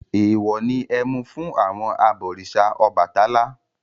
Èèwọ̀ ni ẹmu fún àwọn abọ̀rìṣà Ọbàtálá.